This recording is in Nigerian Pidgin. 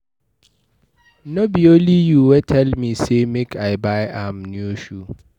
No be you wey tell me say make I buy am new shoe